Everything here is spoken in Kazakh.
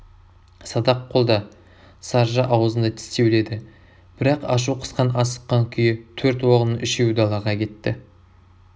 садақ қолда саржа ауызында тістеулі еді бірақ ашу қысқан асыққан күйі төрт оғының ұшеуі далаға кетті